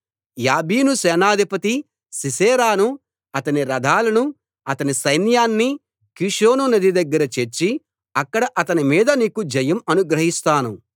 యాబీను సేనాధిపతి సీసెరాను అతని రథాలను అతని సైన్యాన్ని కీషోను నది దగ్గర చేర్చి అక్కడ అతని మీద నీకు జయం అనుగ్రహిస్తాను